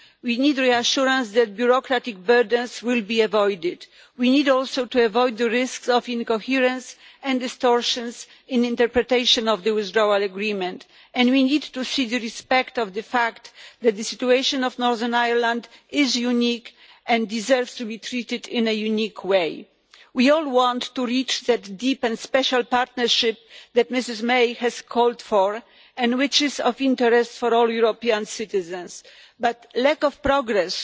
We need reassurance that bureaucratic burdens will be avoided. We also need to avoid the risks of incoherence and distortion in the interpretation of the withdrawal agreement, and we need to see respect for the fact that the situation of Northern Ireland is unique and deserves to be treated in a unique way. We all want to reach that deep and special partnership that Ms May has called for and which is in the interest of all European citizens, but lack of progress